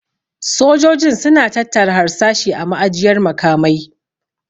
Sojojin su na tattara harsashi a ma'ajiyar makamai